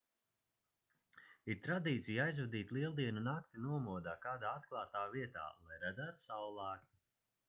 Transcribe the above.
ir tradīcija aizvadīt lieldienu nakti nomodā kādā atklātā vietā lai redzētu saullēktu